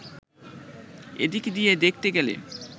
এদিক দিয়ে দেখতে গেলে